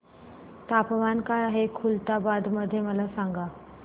तापमान काय आहे खुलताबाद मध्ये मला सांगा